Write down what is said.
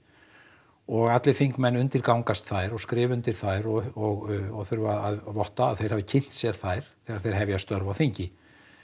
og allir þingmenn undirgangast þær og skrifa undir þær og þurfa að votta að þeir hafi kynnt sér þær þegar þeir hefja störf á þingi